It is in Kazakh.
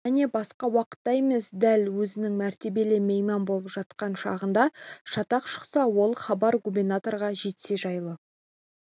және басқа уақытта емес дәл өзінің мәртебелі мейман болып жатқан шағында шатақ шықса ол хабар губернаторға жетсе жайлы